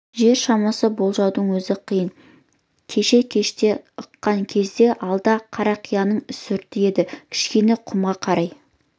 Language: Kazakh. жер шамасын болжаудың өзі қиын кеше кеште ыққан кезде алды қарақияның үстірті еді кішкене құмға қарай